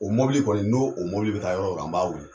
O mɔbili kɔni n'o mɔbili bɛ taa yɔrɔ o yɔrɔ, an b'a weele